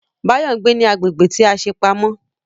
Báyọ̀ ń gbé ní agbègbè tí a ṣe pamọ́